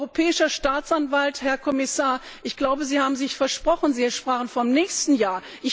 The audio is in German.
Europäischer Staatsanwalt Herr Kommissar, ich glaube, Sie haben sich versprochen, Sie sprachen vom nächsten Jahr.